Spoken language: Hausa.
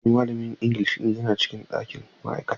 Ee, malamin Ingilishi yana cikin ɗakin ma'aikata.